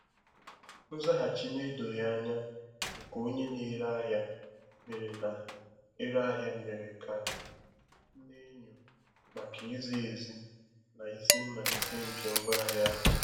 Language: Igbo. Nzaghachi na-edoghị anya nke onye na-ere ahịa mere na-ere ahịa mere ka m n'enyo maka izi ezi na isi mmalite nke ngwaahịa ahụ.